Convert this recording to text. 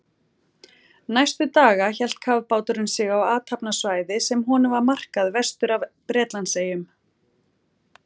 Næstu daga hélt kafbáturinn sig á athafnasvæði, sem honum var markað vestur af Bretlandseyjum.